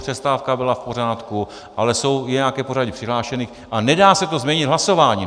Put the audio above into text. Přestávka byla v pořádku, ale je nějaké pořadí přihlášených a nedá se to změnit hlasováním!